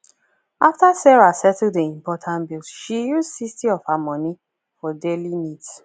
after sarah settle the important bills she use 60 of her money for daily needs